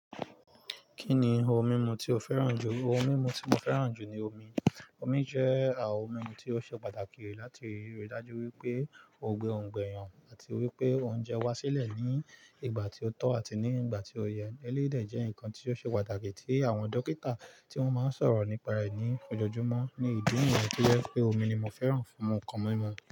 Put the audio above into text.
Kí ni ohun mímu tí o fẹ́ràn jù? Ohun mímu tí mo fẹ́ràn jù ni omi. Omi jẹ́ à ohun mímu tí ó ṣe pàtàkì láti rí i dájú wípé ó gbe òǹgbẹ eeyàn àti wípé oúnjẹ wá sílẹ̀ ní ìgbà tí ó tọ́ àti ní ìgbà tí ó yẹ. Ẹlẹ́dè jẹ́ nǹkan tí ó ṣe pàtàkì tí àwọn dókítà tí wọ́n máa ń sọ̀rọ̀ nípa rẹ̀ ní ojoojúmọ́. Ní ìdí nìyẹn tó jẹ́ pé omi ni mo fẹ́ràn fún ohun kan mímu.